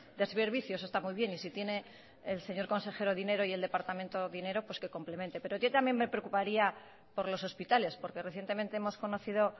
de servicios está muy bien y si tiene el señor consejero dinero y el departamento dinero pues que complemente pero yo también me preocuparía por los hospitales porque recientemente hemos conocido